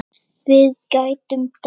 Við gætum dáið.